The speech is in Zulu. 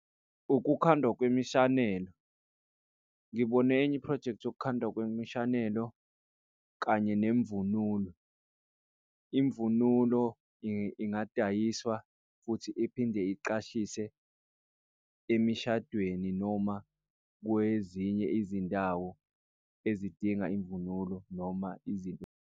Ukukhandwa kwemishanelo, ngibone enye iphrojekthi yokukhandwa kwemishanelo kanye nemvunulo. Imvunulo, ingadayiswa futhi iphinde iqashise emishadweni noma kwezinye izindawo ezidinga imvunulo noma izinto.